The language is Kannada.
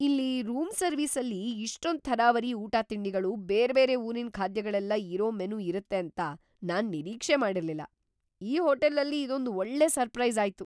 ಇಲ್ಲೀ ರೂಮ್ ಸರ್ವಿಸಲ್ಲಿ ಇಷ್ಟೊಂದ್ ಥರಾವರಿ ಊಟ-ತಿಂಡಿಗಳು, ಬೇರ್ಬೇರೆ ಊರಿನ್‌ ಖಾದ್ಯಗಳೆಲ್ಲ ಇರೋ ಮೆನು ಇರತ್ತೆ ಅಂತ ನಾನ್‌ ನಿರೀಕ್ಷೆ ಮಾಡಿರ್ಲಿಲ್ಲ, ಈ ಹೋಟೆಲಲ್ಲಿ ಇದೊಂದ್ ಒಳ್ಳೆ ಸರ್ಪ್ರೈಸಾಯ್ತು!